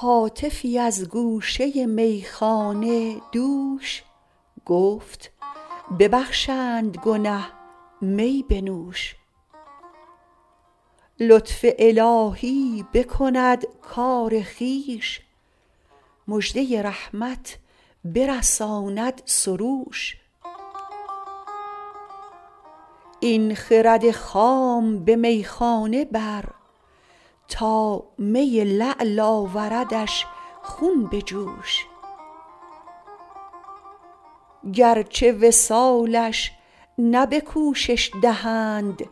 هاتفی از گوشه میخانه دوش گفت ببخشند گنه می بنوش لطف الهی بکند کار خویش مژده رحمت برساند سروش این خرد خام به میخانه بر تا می لعل آوردش خون به جوش گرچه وصالش نه به کوشش دهند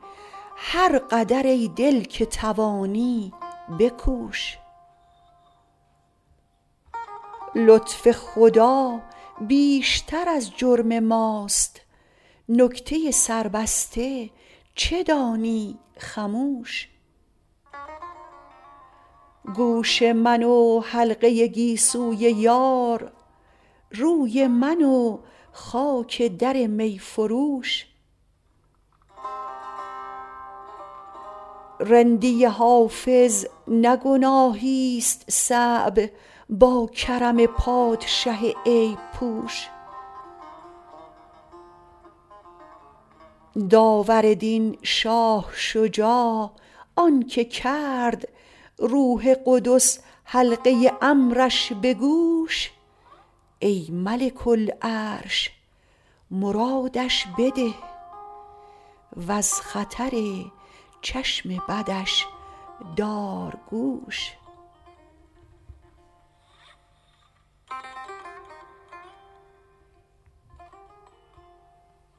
هر قدر ای دل که توانی بکوش لطف خدا بیشتر از جرم ماست نکته سربسته چه دانی خموش گوش من و حلقه گیسوی یار روی من و خاک در می فروش رندی حافظ نه گناهیست صعب با کرم پادشه عیب پوش داور دین شاه شجاع آن که کرد روح قدس حلقه امرش به گوش ای ملک العرش مرادش بده و از خطر چشم بدش دار گوش